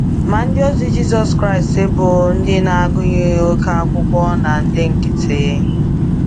Ma, ndịozi Jizọs Kraịst bụ “ndị na-agụghị oké akwụkwọ na ndị nkịtị”.